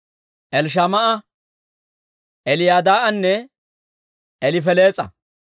Elishamaa'a, Eliyadaa'anne Elifelees'a.